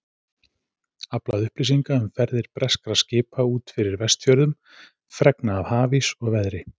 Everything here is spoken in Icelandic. Aflað upplýsinga um ferðir breskra skipa út fyrir Vestfjörðum, fregna af hafís og veðri.